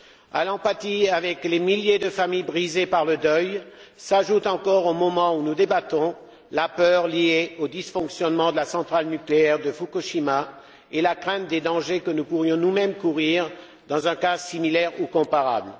À l'empathie avec les milliers de familles brisées par le deuil s'ajoutent encore, au moment où nous débattons, la peur liée aux dysfonctionnements de la centrale nucléaire de Fukushima et la crainte des dangers que nous pourrions nous mêmes courir dans un cas similaire ou comparable.